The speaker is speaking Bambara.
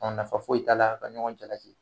nafa foyi t'a la ka ɲɔgɔn jalaki.